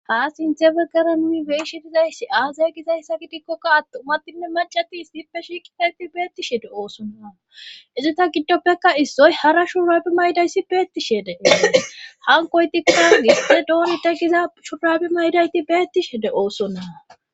Ha sinthe be garami beishi dizayssi aazay gizayssa gidikkokka attumatinne macatis dippe shiikitayti beettishede oosonnaa izita giddoppeka issoy hara shuraabi maydayssi beettishedee hankoy tikka gispe dooni de giza shuraabi maydayti beettishede oosonnaa.